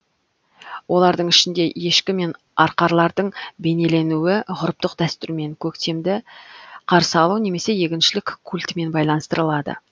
олардың ішінде ешкі мен арқарлардың бейнеленуі ғұрыптық дәстүрмен көктемді қарсы алу немесе егіншілік культімен байланыстырылады